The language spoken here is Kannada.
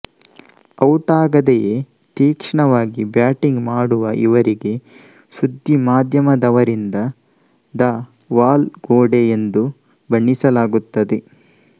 ಔಟಾಗದೆಯೇ ತೀಕ್ಷ್ಣವಾಗಿ ಬ್ಯಾಟಿಂಗ್ ಮಾಡುವ ಇವರಿಗೆ ಸುದ್ದಿ ಮಾಧ್ಯಮದವರಿಂದ ದ ವಾಲ್ ಗೋಡೆ ಎಂದೂ ಬಣ್ಣಿಸಲಾಗುತ್ತದೆ